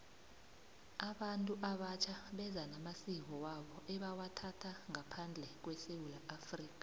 abantu abatjha beza namasiko wabo ebawathatha ngaphandle kwesewula afrika